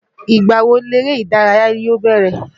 Ìgbà wo leré ìdárayá yóò bẹ̀rẹ̀.